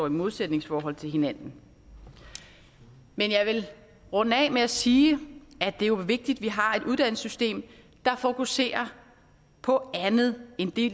et modsætningsforhold til hinanden men jeg vil runde af med at sige at det jo er vigtigt at vi har et uddannelsessystem der fokuserer på andet end det